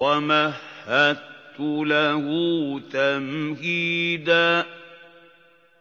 وَمَهَّدتُّ لَهُ تَمْهِيدًا